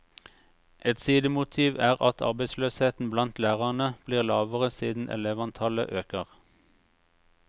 Et sidemotiv er at arbeidsløsheten blant lærerne blir lavere siden elevantallet øker.